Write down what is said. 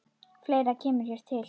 Fleira kemur hér til.